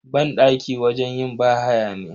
Banɗaki wajen yin bahaya ne.